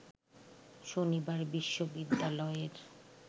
শনিবার বিশ্ববিদ্যালয়ের